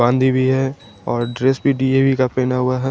बांधी भी है और ड्रेस भी डी_ऐ_वी का पहना हुआ है।